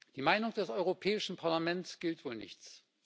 Die Meinung des Europäischen Parlaments gilt wohl nichts.